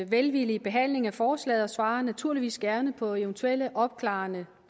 velvillige behandling af forslaget og svarer naturligvis gerne på eventuelle opklarende